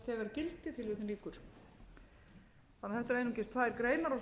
þegar gildi þetta eru einungis tvær greinar svo kemur